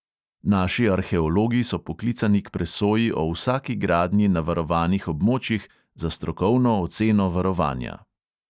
Naši arheologi so poklicani k presoji o vsaki gradnji na varovanih območjih za strokovno oceno varovanja.